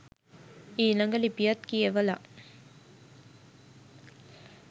ඊළඟ ලිපියත් කියවලා